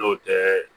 N'o tɛ